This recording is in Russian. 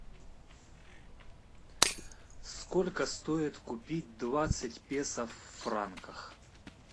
сколько стоит купить двадцать песо в франках